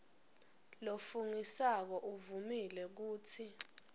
lofungisako uvumile kutsi